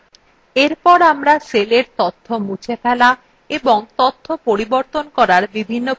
এরপর আমরা সেলের তথ্য মুছে ফেলা এবং তথ্য পরিবর্তন করার বিভিন্ন পদ্ধতি শিখব